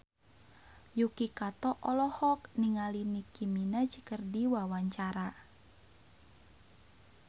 Yuki Kato olohok ningali Nicky Minaj keur diwawancara